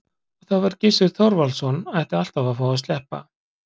Og það var að Gissur Þorvaldsson ætti alltaf að fá að sleppa.